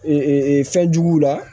fɛn juguw la